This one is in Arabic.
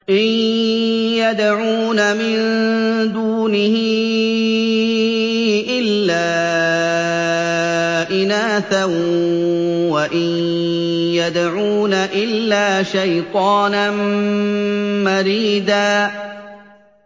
إِن يَدْعُونَ مِن دُونِهِ إِلَّا إِنَاثًا وَإِن يَدْعُونَ إِلَّا شَيْطَانًا مَّرِيدًا